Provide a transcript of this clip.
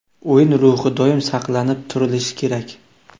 O‘yin ruhi doim saqlanib turilishi kerak.